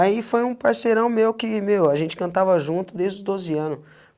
Aí foi um parceirão meu que, meu, a gente cantava junto desde dos doze ano.